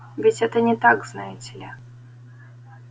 ведь это не так знаете ли